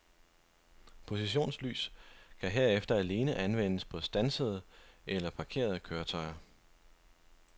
Positionslys kan herefter alene anvendes på standsede eller parkerede køretøjer.